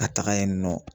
Ka taga yen nɔ